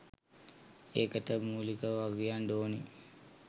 ඒකට මූලිකව වගකියන්ඩ ඕනෙ